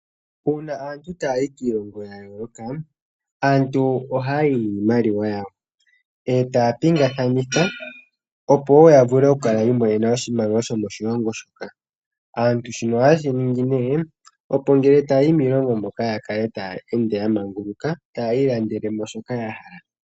Uuna aantu taayi kiilongo ya yooloka, aantu ohaayi niimaliwa yawo etaa pingakanitha opo wo ya vule oku kala yi imonene iimaliwa yomoshilongo shoka. Aantu shino ohaye shi ningi nee opo ngele taa yi miilongo moka ya kale taya ende ya manguluka taya ilandele mo shoka ya hala.